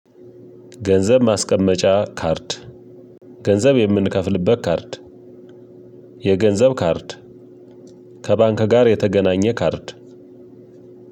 ገንዘብ ማስቀመጫ ካርድ፣። ገንዘብ የምንከፍልበት ካርድ፣። የገንዘብ ካርድ፣። ከባንክ ጋር የተገናኘ ካርድ፣።